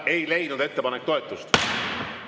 Ettepanek ei leidnud toetust.